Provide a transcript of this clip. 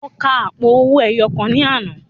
Mo ka àpò owó ẹyọ kan ní àná.